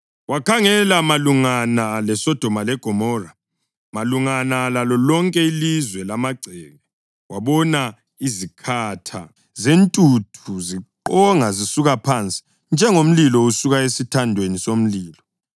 Wakhangela malungana leSodoma leGomora, malungana lalo lonke ilizwe lamagceke, wabona izikhatha zentuthu ziqonga zisuka phansi, njengomlilo usuka esithandweni somlilo.